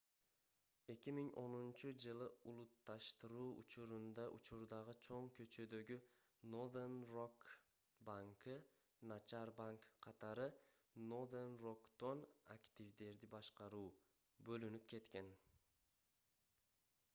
2010-жылы улутташтыруу учурунда учурдагы чоң көчөдөгү nothern rock plc банкы начар банк катары nothern rock'тон активдерди башкаруу бөлүнүп кеткен